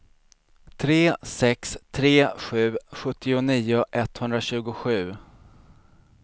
tre sex tre sju sjuttionio etthundratjugosju